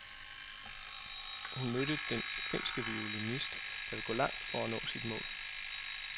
Han mødte den finske violinist, der vil gå langt for at nå sit mål.